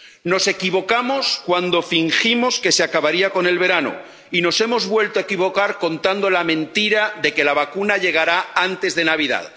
Nos equivocamos cuando fingimos que se acabaría con el verano y nos hemos vuelto a equivocar contando la mentira de que la vacuna llegará antes de Navidad.